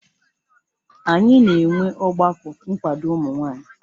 Anyị na-enwe ọgbakọ nkwado ụmụ nwanyị